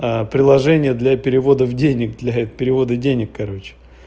а приложение для перевода в денег для перевода денег короче